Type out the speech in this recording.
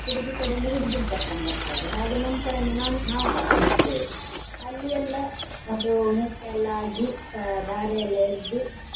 ಹುಡುಗಿ ಕಡೆಯಿಂದ ಹುಡ್ಗಿನ್ ಕರ್ಕಂಡ್ ಬರ್ತಾರೆ ಹಾಗೆ ನಮ್ಮ್ ಕಡೆಯಿಂದ ನಮ್~ ನಾವು ಕರ್ಕೊಂಡ್ ಹೋಗ್ತೇವೆ ಅಲ್ಲಿ ಎಲ್ಲ ಅದು ಮುಹೂರ್ತ ಎಲ್ಲ ಆಗಿಸ ಧಾರೆ ಎಲ್ಲ ಎರ್ದು.